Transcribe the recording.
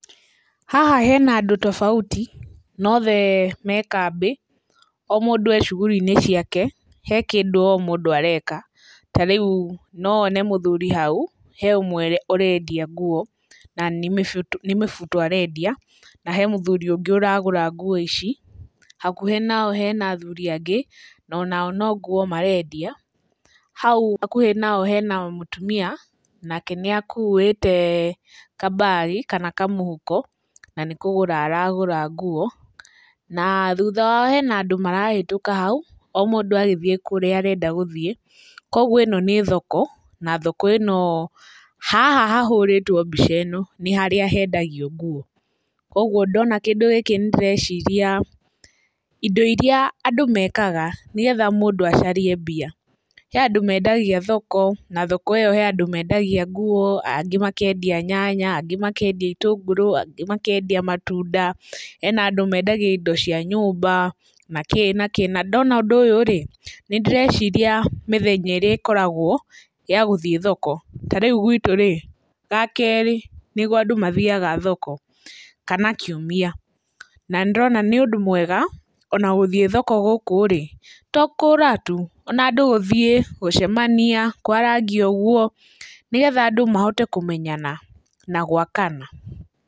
Haha hena andũ tofauti na othe me kambĩ, o mũndũ e cugũri-inĩ ciake, he kĩndũ o mũndũ areka, ta rĩu no wone mũthuri hau, he ũmwe ũrendia nguo, na nĩ mĩbuto arendĩa, na he mũthuri ũngĩ ũragũra nguo ici. Hakuhĩ nao hena athuri angĩ no nao no nguo marendia. Hau hakuhĩ nao hena mũtumia, nake nĩ akuĩte kambagi kana kamũhuko na nĩ kũgũra aragũra nguo, na thutha wao hena andũ marahetũka hau o mũndũ agĩthiĩ kũrĩa arenda gũthiĩ. Koguo ĩno nĩ thoko, na thoko ĩno, haha hahũrĩtwo mbica ĩno nĩ harĩa hendagio nguo. Koguo ndona kĩndũ gĩkĩ nĩ ndĩreciria indo iria andũ mekaga nĩgetha mũndũ acarie mbia, he andũ mendagia thoko na thoko ĩyo he andũ mendagia nguo, angĩ makendia nyanya, angĩ makendia itũngũrũ angĩ makendia matunda, hena andũ mendagia indo cia nyũmba nakĩ nakĩ, na ndona ũndũ ũyũ-rĩ, nĩ ndĩreciria mĩthenya ĩrĩa ĩkoragwo ya gũthiĩ thoko, ta rĩu gwĩtũ- rĩ, ga kerĩ nĩguo andũ mathiaga thoko kana kiumia, na nĩ ndĩrona nĩ ũndũ mwega ona gũthiĩ thoko gũkũ-rĩ, to kũgũra tu, ona andũ gũthiĩ, gũcemania, kwarangia ũguo, nĩgetha andũ mahote kũmenyana na gwakana.